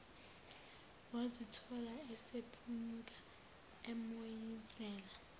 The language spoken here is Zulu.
wazithola esephunyuka emoyizela